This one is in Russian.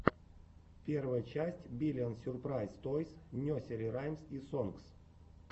первая часть биллион сюрпрайз тойс несери раймс и сонгс